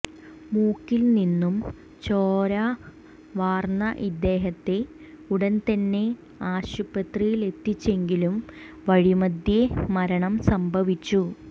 മൂക്കിൽനിന്നും ചോര വാർന്ന ഇദ്ദേഹത്തെ ഉടൻതന്നെ ആശുപത്രിയിലെത്തിച്ചെങ്കിലും വഴിമധ്യേ മരണം സംഭവിച്ചു